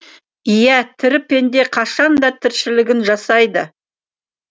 иә тірі пенде қашан да тіршілігін жасайды